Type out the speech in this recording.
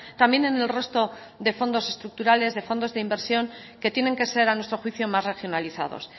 también en el resto de fondos estructurales de fondos de inversión que tienen que ser a nuestro juicio más regionalizados